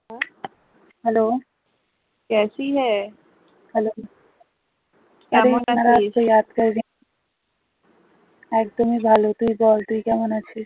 একদমই ভালো, তুই বল তুই কেমন আছিস?